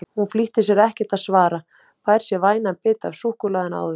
Hún flýtir sér ekkert að svara, fær sér vænan bita af súkkulaðinu áður.